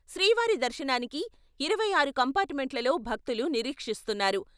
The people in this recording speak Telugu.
శ్రీవారి దర్శనానికి ఇరవై ఆరు కంపార్టుమెంట్లలో భక్తులు నిరీక్షిస్తున్నారు.